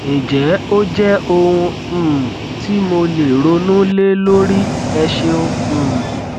ǹjẹ ó jẹ ohun um ti mo lè ronú lé lórí ẹ ṣeun um